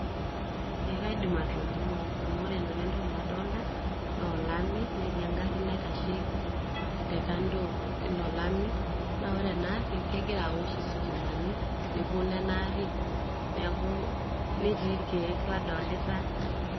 ee kaidim atolimu amu ore nanu entoki nadolta naa olami netii engarri naitashe te kando olami naa ore ena arri kegira awosh isitimanmi nebolo ena arri neeku netii irkeek ladolita.